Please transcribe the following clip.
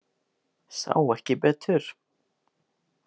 Sá ekki betur.